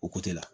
O la